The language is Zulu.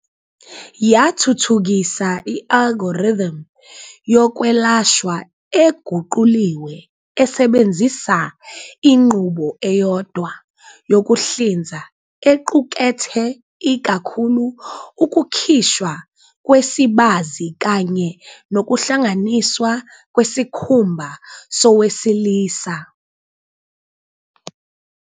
yathuthukisa i-algorithm yokwelashwa eguquliwe esebenzisa inqubo eyodwa yokuhlinza equkethe ikakhulu ukukhishwa kwesibazi kanye nokuhlanganiswa kwesikhumba sowesilisa.